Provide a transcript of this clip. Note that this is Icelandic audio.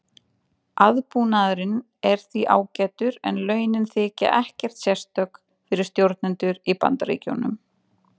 Aðbúnaðurinn er því ágætur en launin þykja ekkert sérstök fyrir stjórnendur í Bandaríkjunum.